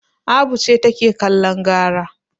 Abu ce take kallon gara.